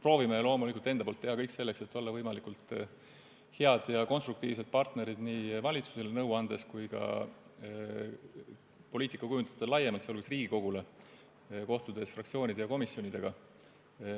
Loomulikult proovime enda poolt teha kõik selleks, et olla võimalikult head ja konstruktiivsed partnerid nii valitsusele nõu andes kui ka poliitika kujundajatele laiemalt, sh Riigikogule, kohtudes fraktsioonide ja komisjonidega.